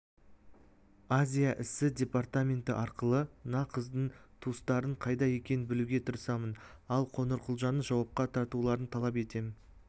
азия ісі департаменті арқылы мына қыздың туыстарының қайда екенін білуге тырысамын ал қоңырқұлжаны жауапқа тартуларын талап етем